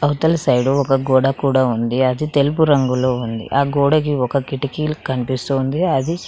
అవతల సైడు ఒక గోడ కూడా ఉంది అది తెలుపు రంగులో ఉంది ఆ గోడకి ఒక కిటికీల్ కనిపిస్తూ ఉంది అది--